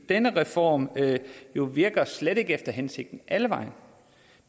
denne reform virker jo slet ikke efter hensigten alle vegne